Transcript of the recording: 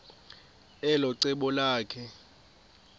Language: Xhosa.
elo cebo lakhe